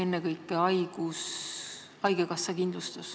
Ennekõike pean silmas haigekassa kindlustust.